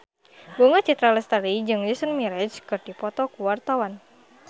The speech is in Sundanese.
Bunga Citra Lestari jeung Jason Mraz keur dipoto ku wartawan